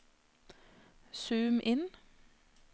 zoom inn